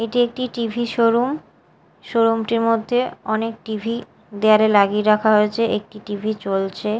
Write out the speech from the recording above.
এটি একটি TV showroom showroom -টির মধ্যে অনেক টি_ভি দেওয়ালে লাগিয়ে রাখা হয়েছে একটি টি_ভি চলছে।